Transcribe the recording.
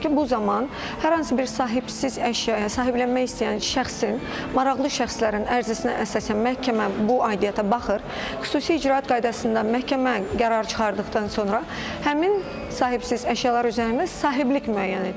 bu zaman hər hansı bir sahibsiz əşyaya sahiblənmək istəyən şəxsin, maraqlı şəxslərin ərizəsinə əsasən məhkəmə bu aidiyyəta baxır, xüsusi icraat qaydasında məhkəmə qərar çıxartdıqdan sonra həmin sahibsiz əşyalar üzərində sahiblik müəyyən edilir.